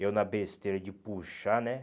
Eu na besteira de puxar, né?